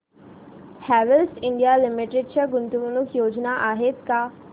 Havells India limited च्या गुंतवणूक योजना आहेत का